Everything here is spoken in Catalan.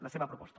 la seva proposta